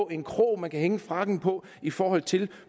en krog man kan hænge frakken på i forhold til